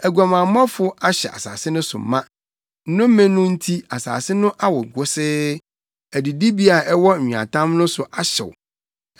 Aguamammɔfo ahyɛ asase no so ma; nnome no nti asase no awo wosee, adidibea a ɛwɔ nweatam no so ahyew. Adiyifo no nam ɔkwan bɔne so de wɔn tumi yɛ nea ɛnteɛ.